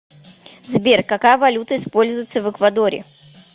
сбер какая валюта используется в эквадоре